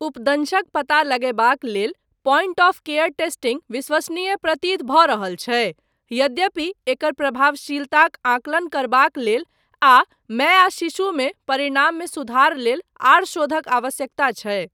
उपदंशक पता लगयबाक लेल प्वाइंट ऑफ केयर टेस्टिंग विश्वसनीय प्रतीत भऽ रहल छै यद्यपि एकर प्रभावशीलताक आंकलन करबाक लेल आ माय आ शिशु मे परिणाममे सुधार लेल आर शोधक आवश्यकता छै।